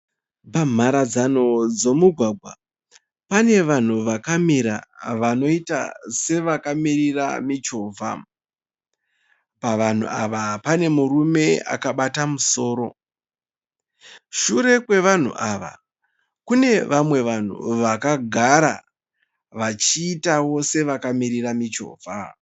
Pamharadzano dzomugwagwa pane vanhu vakamira vanoita sevakamirira michovha. Pavanhu ava pane murume akabata musoro. Sure kwevanhu ava kune vamwe vanhu vakagara vachiitawo sevakamirira michovha.